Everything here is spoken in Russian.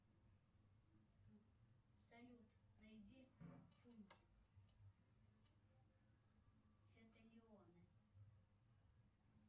салют найди фунтик фетолеоны